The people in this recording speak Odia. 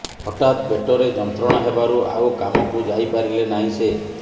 ହଠାତ୍ ପେଟରେ ଯନ୍ତ୍ରଣା ହେବାରୁ ଆଉ କାମକୁ ଯାଇ ପାରିଲେ ନାହିଁ ସେ